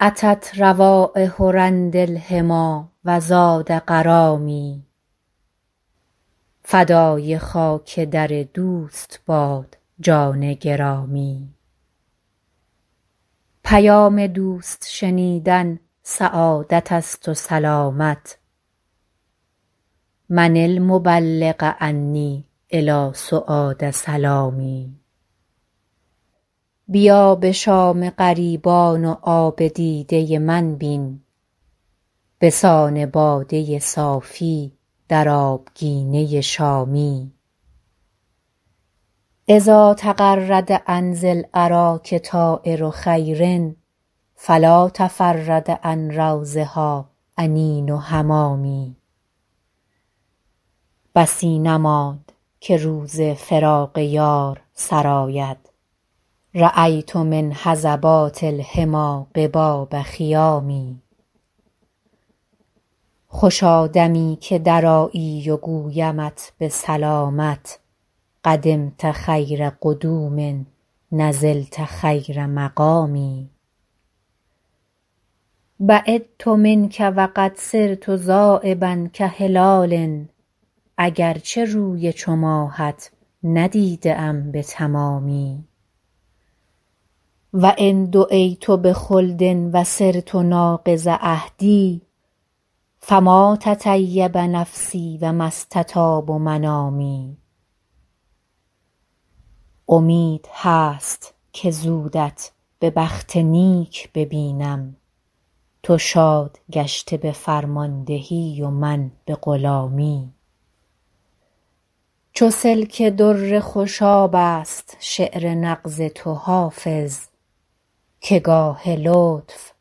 أتت روایح رند الحمیٰ و زاد غرامی فدای خاک در دوست باد جان گرامی پیام دوست شنیدن سعادت است و سلامت من المبلغ عنی إلی سعاد سلامی بیا به شام غریبان و آب دیده من بین به سان باده صافی در آبگینه شامی إذا تغرد عن ذی الأراک طایر خیر فلا تفرد عن روضها أنین حمامي بسی نماند که روز فراق یار سر آید رأیت من هضبات الحمیٰ قباب خیام خوشا دمی که درآیی و گویمت به سلامت قدمت خیر قدوم نزلت خیر مقام بعدت منک و قد صرت ذایبا کهلال اگر چه روی چو ماهت ندیده ام به تمامی و إن دعیت بخلد و صرت ناقض عهد فما تطیب نفسی و ما استطاب منامی امید هست که زودت به بخت نیک ببینم تو شاد گشته به فرماندهی و من به غلامی چو سلک در خوشاب است شعر نغز تو حافظ که گاه لطف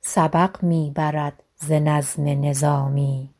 سبق می برد ز نظم نظامی